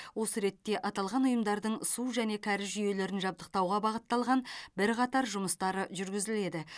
осы ретте аталған ұйымдардың су және кәріз жүйелерін жабдықтауға бағытталған бірқатар жұмыстары жүргізіледі